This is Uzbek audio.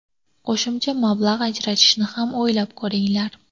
Qo‘shimcha mablag‘ ajratishni ham o‘ylab ko‘ringlar.